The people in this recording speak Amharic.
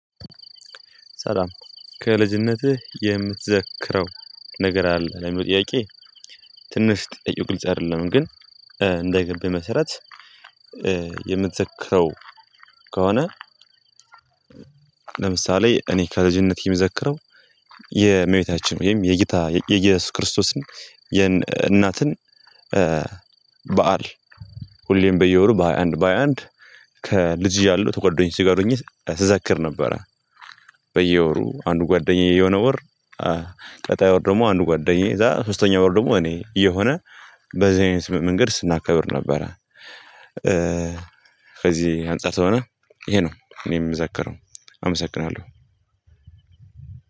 ሰላም ከልጅነትህ የምትዘክረው ነገር አለ ለሚለው ጥያቄ? ትንሽ ጥያቄው ግልጽ አይደለም ግን እንደ ገባኝ መሰረት የምትዘክረው ከሆነ። ለምሳሌ እኔ ከልጅቴ የምዘክረው የእመቤታችን ወይም የጌታ የኢየሱስ ክርስቶስን የእናትን በዓል ሁሌም በየወሩ በሃያ አንድ በሃያ አንድ ከልጅ እያለው ከጓደኞቼ ጋር ሆኜ ስዘክር ነበረ። በወሩ አንዱ ጓደኛዬ የሆነ ወር ቀጣዩ ወር ደግሞ አንዱ ጓደኛዬ እዛ ሶስተኛው ወር ደግሞ እኔ እየሆነ በዚህ አይነት መንገድ ስናከብር ነበረ። ከዚህ አንፃር ስለሆነ ይሄ ነው እኔ እምዘክረው